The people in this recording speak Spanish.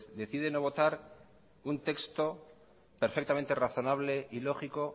decide no votar un texto perfectamente razonable y lógico